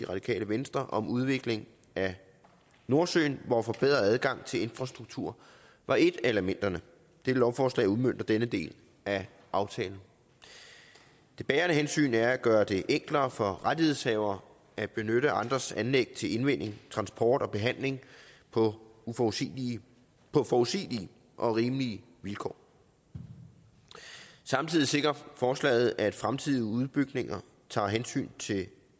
radikale venstre om udvikling af nordsøen hvor en forbedret adgang til infrastruktur var et af elementerne dette lovforslag udmønter denne del af aftalen det bærende hensyn er at gøre det enklere for rettighedshavere at benytte andres anlæg til indvinding transport og behandling på forudsigelige på forudsigelige og rimelige vilkår samtidig sikrer forslaget at fremtidige udbygninger tager hensyn til